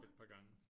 Et par gange